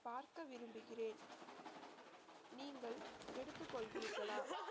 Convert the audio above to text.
பார்க்க விரும்புகிறேன் நீங்கள் எடுத்துக் கொள்வீர்களா